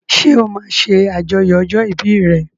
Ṣé o máa ṣe àjọyọ̀ ọjọ́ ìbí re?